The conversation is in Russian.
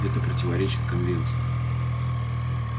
это противоречит конвенции